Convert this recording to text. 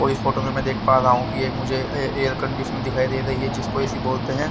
और इस फोटो में में देख पा रहा हु के एक मुझे ए एयर कंडीसन दिखाई दे रही है जिसको ए _सी बोलते है।